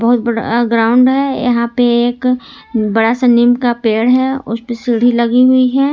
बहुत बड़ा ग्राउंड है यहां पे एक बड़ा सा नीम का पेड़ है उस पे सीढ़ी लगी हुई है।